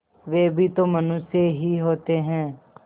वे भी तो मनुष्य ही होते हैं